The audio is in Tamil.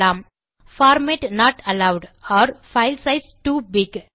format not allowed or file size too big